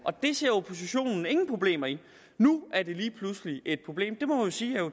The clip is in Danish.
det ser oppositionen ingen problemer i nu er det lige pludselig et problem vi må jo sige at